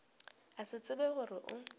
a se tsebe gore o